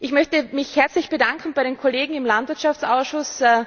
Ich möchte mich herzlich bedanken bei den Kollegen im Landwirtschaftsausschuss.